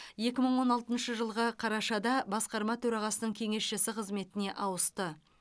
екі мың он алтыншы жылғы қарашада басқарма төрағасының кеңесшісі қызметіне ауысты